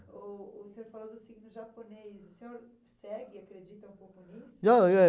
O o senhor falou do signo japonês. O senhor segue, acredita um pouco nisso? Não, não